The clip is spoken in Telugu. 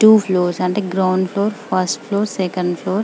టూ ఫ్లూర్స్ అంటే ground floor first floor second floor --